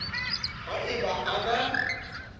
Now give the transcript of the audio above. ha e ba a na